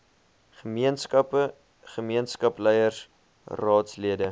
gemeenskappe gemeenskapsleiers raadslede